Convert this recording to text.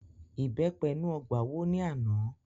Ìbẹ́pẹ inú ọgbà wó ní àná